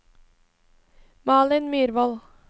Malin Myrvold